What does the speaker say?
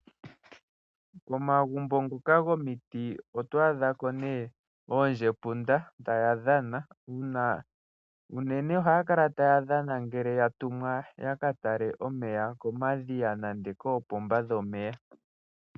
Momagumbo ngoka gomiti oto adha ko nee oondjepunda taya dhana, uunene ohaa kala taya dhana ngele ya tumwa ya ka tale omeya komadhiya nande koopomba dhomeya.